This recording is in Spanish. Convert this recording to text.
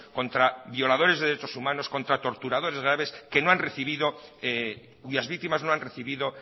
contra violadores de derechos humanos contra torturadores graves cuyas víctimas no han recibido